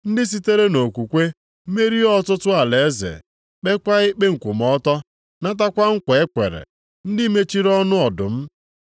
ndị sitere nʼokwukwe merie ọtụtụ alaeze, kpeekwa ikpe nkwụmọtọ, natakwa nkwa e kwere, ndị mechiri ọnụ ọdụm.